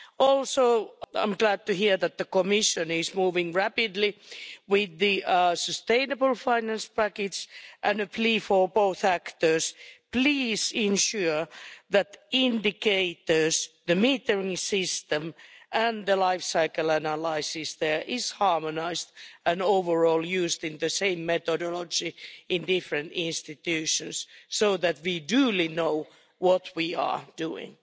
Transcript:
Also, I'm glad to hear that the Commission is moving rapidly with the sustainable finance package and a plea for both actors please ensure that indicators, the metering system and the lifecycle analyses there is harmonised and, overall, used in the same methodology in different institutions so that we duly know what we are doing.